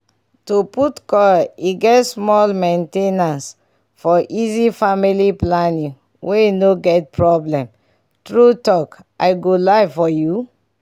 to put coil e get small main ten ancefor easy family planing wey no get problem. true talk i go lie for u?